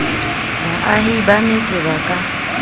baahi ba metse ba ka